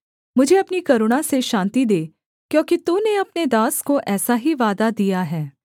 मुझे अपनी करुणा से शान्ति दे क्योंकि तूने अपने दास को ऐसा ही वादा दिया है